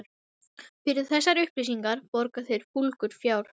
Fyrir þessar upplýsingar borga þeir fúlgur fjár.